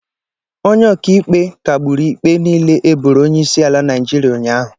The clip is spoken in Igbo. Onye Ọkaikpe kagburu ikpe niile e boro onyeisiala Naịjirịa ụnyaahụ.